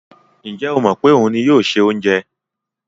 Ǹjẹ́ ó mọ̀ pé òun ni yóò se oúnjẹ?